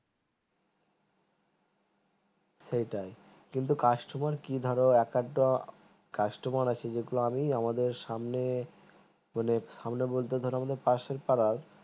সেটাই কিন্তু customer কি ধরো এক আধ টো customer আছে যেগুলা আমি আমাদের সামনে সামনে বলতে ধরে পাশের পাড়া